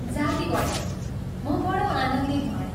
जाती भयो, म बडो आनन्दित भएँ।